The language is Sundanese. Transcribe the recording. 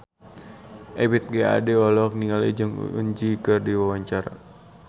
Ebith G. Ade olohok ningali Jong Eun Ji keur diwawancara